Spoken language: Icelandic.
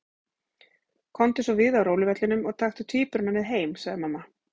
Komdu svo við á róluvellinum og taktu tvíburana með heim, sagði mamma.